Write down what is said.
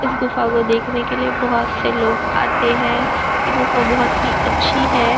इस गुफ़ा को देखने के लिए बहुत से लोग आते हैं यह गुफ़ा बहुत ही अच्छी है।